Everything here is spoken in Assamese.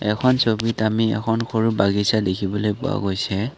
এখন ছবিত আমি এখন সৰু বাগিছা দেখিবলৈ পোৱা গৈছে।